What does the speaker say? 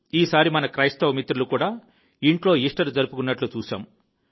ఈసారి మన క్రైస్తవ మిత్రులు కూడా ఇంట్లో ఈస్టర్ జరుపుకున్నట్లు చూశాము